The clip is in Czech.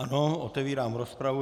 Ano, otevírám rozpravu.